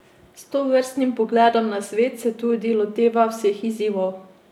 S tovrstnim pogledom na svet se tudi loteva vseh izzivov.